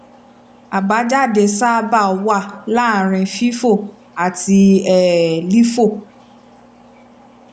àbájáde sábà wà láàárín fifo àti um lifo